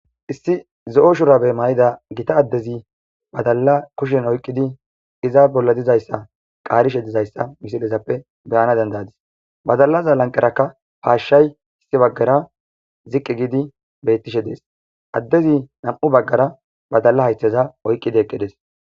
Issi zo7o shura be may7ida gita addezi badalla kushen oyqqidi iza bolla dizayssa qaarishe dizayssa misilezappe beyana dendadis badallaza lanqerakka paashshay issi baggara ziqqi giidi beyttishe dees addezi nam7u baggara badalla haytheza oyqqidi eqqidees.